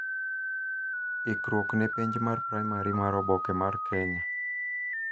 ikruok ne penj mar primary mar oboke mar Kenya